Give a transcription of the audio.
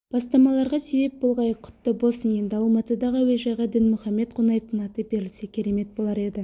бастамаларға себеп болғай құтты болсын енді алматыдағы әуежайға дінмұхаммед қонаевтың аты берілсе керемет болар еді